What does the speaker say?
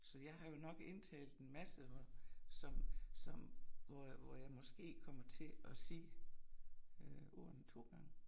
Så jeg har jo nok indtalt en masse hvor som som hvor jeg hvor jeg måske kommer til at sige øh ordene to gange